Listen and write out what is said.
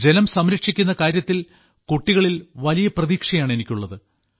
ജലം സംരക്ഷിക്കുന്ന കാര്യത്തിൽ കുട്ടികളിൽ വലിയ പ്രതീക്ഷയാണ് എനിക്കുള്ളത്